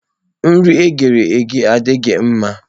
Nri e ghere eghe adịghị mma.